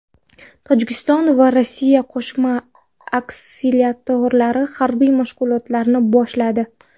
Tojikiston va Rossiya qo‘shma aksilterror harbiy mashg‘ulotlarini boshladi.